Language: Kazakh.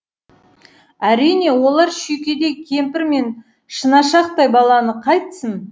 әрине олар шүйкедей кемпір мен шынашақтай баланы қайтсін